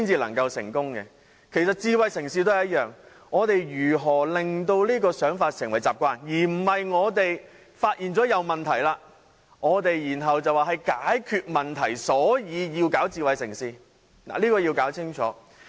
其實智慧城市也一樣，我們如何令這種想法成為習慣，而不是我們發現有問題，然後便說要解決問題，所以才推動智慧城市的發展？